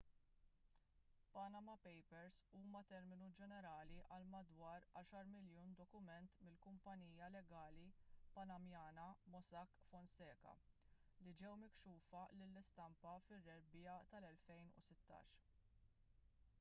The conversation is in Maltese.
panama papers huwa terminu ġenerali għal madwar għaxar miljun dokument mill-kumpanija legali panamanjana mossack fonseca li ġew mikxufa lill-istampa fir-rebbiegħa tal-2016